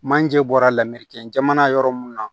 Manje bɔra lamereke jamana yɔrɔ mun na